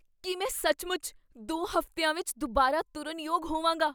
ਕੀ ਮੈਂ ਸੱਚਮੁੱਚ ਦੋ ਹਫ਼ਤਿਆਂ ਵਿੱਚ ਦੁਬਾਰਾ ਤੁਰਨ ਯੋਗ ਹੋਵਾਂਗਾ?